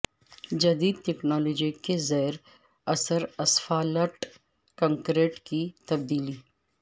جدید ٹیکنالوجی کے زیر اثر اسفالٹ کنکریٹ کی تبدیلی